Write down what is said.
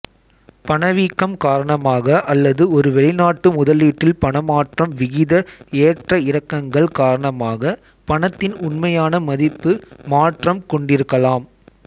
பணவீக்கம் காரணமாக அல்லது ஒரு வெளிநாட்டு முதலீட்டில் பணமாற்று விகித ஏற்றஇறக்கங்கள் காரணமாக பணத்தின் உண்மையான மதிப்பு மாற்றம் கொண்டிருக்கலாம்